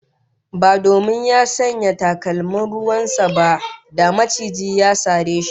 Ba domin ya sanya takalman ruwan sa ba, da macijin ya sare shi